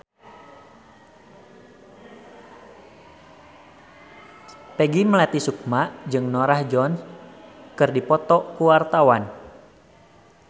Peggy Melati Sukma jeung Norah Jones keur dipoto ku wartawan